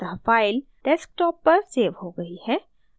अतः file desktop पर so हो गई है